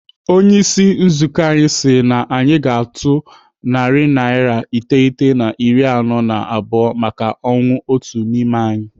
Onyeisi nzukọ anyị si anyị tụọ naira narị iteghete na iri anọ na abụọ maka ọnwụ otu n'ime anyị.